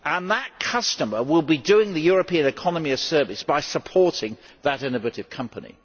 That customer will be doing the European economy a service by supporting that innovative company.